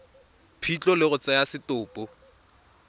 phitlho le go tsaya setopo